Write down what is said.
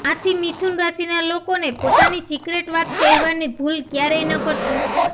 આથી મિથુન રાશિના લોકોને પોતાની સિક્રેટ વાત કહેવાની ભૂલ ક્યારેય ન કરતા